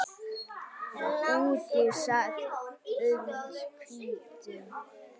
Úti sat und hvítum